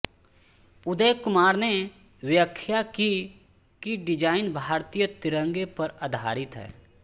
उदय कुमार ने व्याख्या की कि डिजाइन भारतीय तिरंगे पर आधारित है